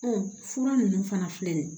fura ninnu fana filɛ nin ye